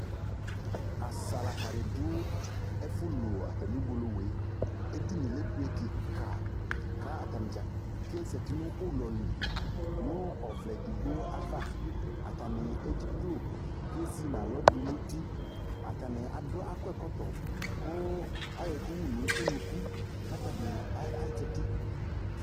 Asalaka dɩ dʋ ɛfʋlu atamɩ uwolowu yɛ Edini yɛ ebe kɩka kʋ atanɩ dza ke zati nʋ ʋlɔ li nʋ ɔvlɛ edigbo ava Atanɩ edziklo kʋ ezi nʋ alɔ dʋ nʋ uti Atanɩ adʋ akɔ ɛkɔtɔ kʋ ayɔ ɛkʋ wu nʋ unuku kʋ atanɩ a a azati